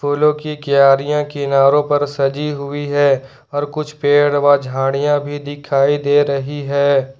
फूलों की क्यारियां किनारो पर सजी हुई है और कुछ पेड़ व झाड़ियां भी दिखाई दे रही है।